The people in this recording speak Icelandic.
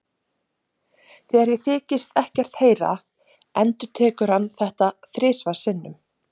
Þegar ég þykist ekkert heyra endurtekur hann þetta þrisvar sinnum.